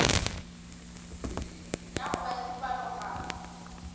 ya go ba le dipalopalo